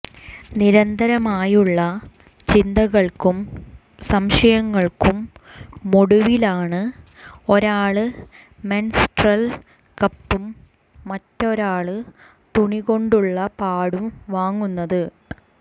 നിരന്തരമായുള്ള ചിന്തകള്ക്കും സംശയങ്ങള്ക്കുമൊടുവിലാണ് ഒരാള് മെന്സ്ട്രല് കപ്പും മറ്റൊരാള് തുണികൊണ്ടുള്ള പാഡും വാങ്ങുന്നത്